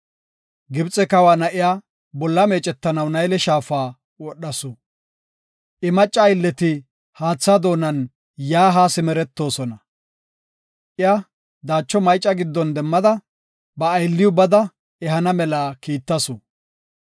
Gibxe kawa na7iya bolla meecetanaw Nayle Shaafa wodhasu. I macca aylleti haatha doonan yaa haa simeretoosona. Iya daacho mayca giddon demmada, ba aylliw bada ehana mela kiittasu.